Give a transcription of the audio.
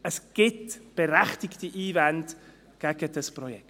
Es gibt berechtigte Einwände gegen dieses Projekt.